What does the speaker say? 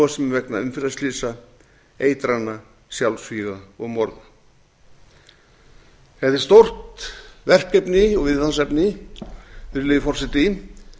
sem vegna umferðarslysa eitrana sjálfsvíga og morða þetta er stórt verkefni og viðfangsefni virðulegi forseti